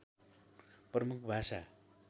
प्रमुख भाषा